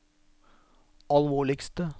alvorligste